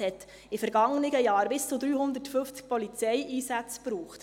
Es brauchte in vergangenen Jahren bis zu 350 Polizeieinsätzen.